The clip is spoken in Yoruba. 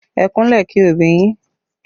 Ẹ kúnlẹ̀ kí òbí yín